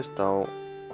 á